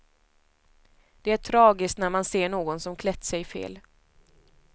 Det är tragiskt när man ser någon som klätt sig fel.